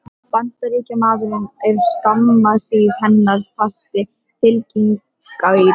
Bandaríkjamaður er skamma hríð hennar fasti fylginautur.